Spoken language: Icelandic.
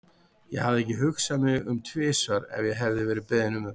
Ég hefði ekki hugsað mig um tvisvar ef ég hefði verið beðin um þetta.